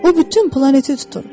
O bütün planeti tutur.